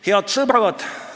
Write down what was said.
Head sõbrad!